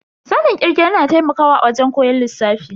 Sanin kirge yana taimakawa a wajen koyon lissafi.